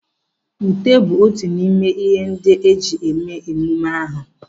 Ute bụ otu n'ime n'ihe ndị a ga-eji eme mmeme ahụ.